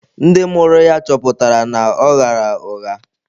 Ndị mụrụ ya chọpụtara na ọ ghaara ụgha.